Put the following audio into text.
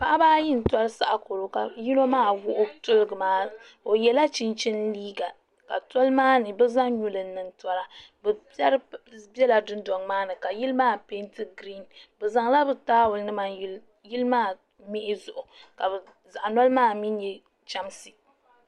paɣ' ayi n turi sakurɔ ka yino maa wɔɣ' tɛliga maa o yɛla chihin liga ka tuli maa ni ka bɛ zaŋ nyuli niŋ tulimaa n tura larigi bɛ dondoŋ maa ni bɛ zaŋ la be laabu nim yili maa mi zuɣ' ka zaɣ' noli maa mi nyɛ chɛmsi